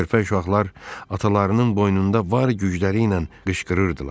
Körpə uşaqlar atalarının boynunda var gücləri ilə qışqırırdılar.